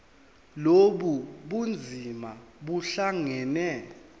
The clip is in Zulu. lobu bunzima buhlangane